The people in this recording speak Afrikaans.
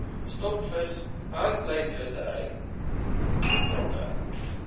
stokvis handlynvissery betrokke